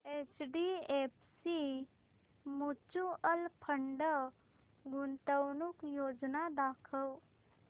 HDFC mutual fund गुंतवणूक योजना दाखव